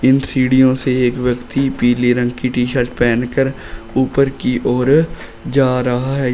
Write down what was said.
इन सीढ़ियों से एक व्यक्ति पीले रंग की टी शर्ट पहन कर ऊपर की ओर जा रहा है।